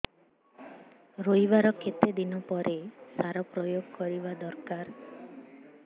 ରୋଈବା ର କେତେ ଦିନ ପରେ ସାର ପ୍ରୋୟାଗ କରିବା ଦରକାର